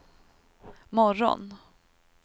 morgon